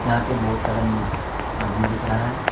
यहां पे बहुत सरम आदमी दिख रहा है।